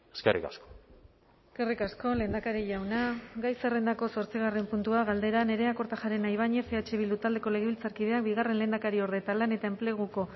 eskerrik asko eskerrik asko lehendakari jauna gai zerrendako zortzigarren puntua galdera nerea kortajarena ibañez eh bildu taldeko legebiltzarkideak bigarren lehendakariorde eta lan eta enpleguko